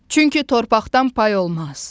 Çünki torpaqdan pay olmaz.